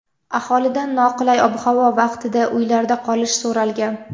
Aholidan noqulay ob-havo vaqtida uylarda qolish so‘ralgan.